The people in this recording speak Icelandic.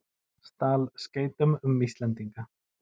Stal skeytum um Íslendinga